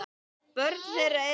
Börn þeirra eru